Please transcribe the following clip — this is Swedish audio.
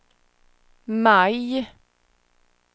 maj